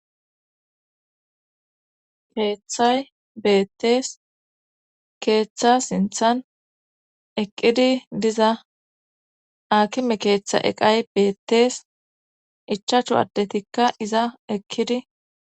keeththay beettees keeththa sinthan eqqidi diza akime keeththa eqay beettees ichaachu addetikka iza eqkidi